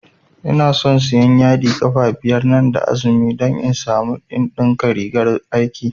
Inason siyan yadi ƙafa biyar nan da azumi don in samu in ɗinka rigar aiki